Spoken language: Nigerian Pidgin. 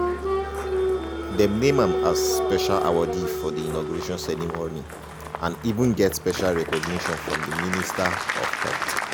dem name am as special awardee for di inauguration ceremony and even get special recognition from di minister of health.